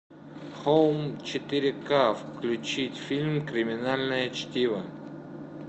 хоум четыре ка включить фильм криминальное чтиво